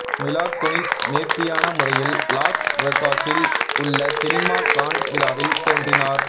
மிலா Kunis நேர்த்தியான முறையில் Los வேகாஸில் உள்ள சினிமா கான் விழாவில் தோன்றினார்